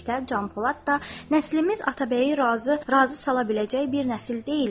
Dedikdə Can Polad da: "Nəslimiz Atabəyi razı sala biləcək bir nəsil deyildir."